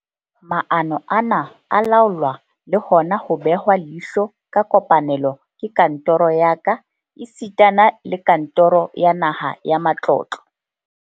Maano ana a laolwa le hona ho behwa leihlo ka kopanelo ke kantoro ya ka esitana le kantoro ya Naha ya Matlotlo.